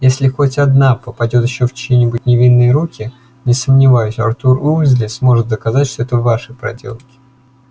если хоть одна попадёт ещё в чьи-нибудь невинные руки не сомневаюсь артур уизли сможет доказать что это ваши проделки